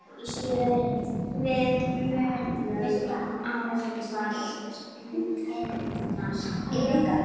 Við munum ávallt minnast ykkar.